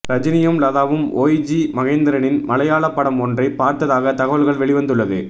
ரஜினியும் லதாவும் ஒய்ஜி மகேந்திரனின் மலையாள படம் ஒன்றை பார்த்ததாக தகவல்கள் வெளிவந்துள்ளது